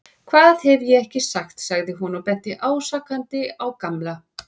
Hvað hef ég ekki sagt sagði hún og benti ásakandi á Gamla.